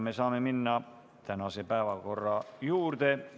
Me saame minna tänase päevakorra juurde.